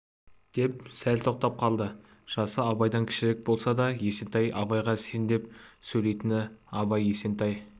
деп сәл тоқтап қалды жасы абайдан кішірек болса да есентай абайға сен деп сөйлейтін абай есентай